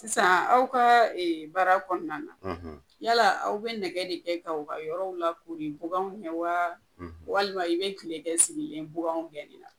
Sisan aw ka baara kɔnɔna na; ; yala aw bɛ nɛgɛ de kɛ' kaw ka yɔrɔ lakori baganw ɲɛ wa; ; walima i bɛ kile kɛ sigilen baganw gɛnni la?